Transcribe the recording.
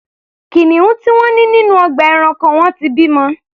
Kìnìún tí wọ́n ní nínú ọgbà ẹranko wọn ti bimọ.